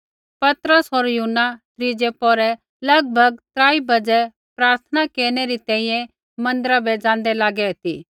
पतरस होर यूहन्ना त्रीज़ै पौहरै लगभग त्राई बज़ै प्रार्थना केरनै री तैंईंयैं मन्दिरा बै ज़ाँदै लागै ती